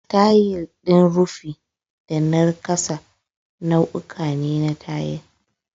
Tayil din rufi da na ƙasa nau'uka ne na tayil.